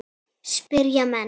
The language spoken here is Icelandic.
spyrja menn.